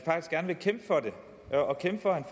meget gerne kæmpe for at edward